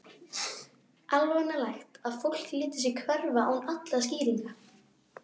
Alvanalegt að fólk léti sig hverfa án allra skýringa.